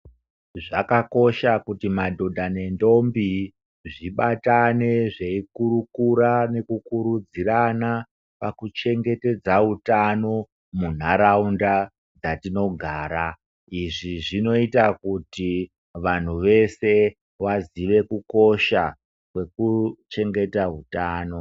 Zvakakosha kuti madhodha nendombi, zvibatane zveikurukura nekukurudzirana pakuchengetedza utano, munharaunda yatinogara. Izvi zvinoita kuti vanhu vese vazive kukosha kwekuchengeta hutano.